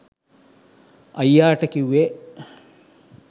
අයියාට කිව්වේ